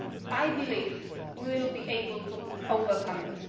I believe we will be able to overcome it.